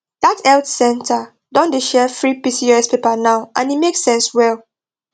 that health center don dey share free pcos paper now and e make sense well